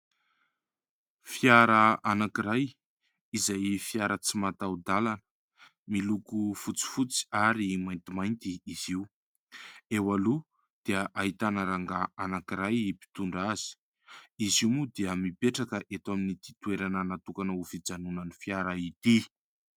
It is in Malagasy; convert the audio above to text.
Fiara anakiray, izay fiara tsy mataho-dalana. Miloko fotsifotsy ary maintimainty izy io. Eo aloha dia ahitana rangahy anakiray mpitondra azy . Izy io moa dia mipetraka eto amin'ny ity toerana natokana hijanonan'ny fiara ity.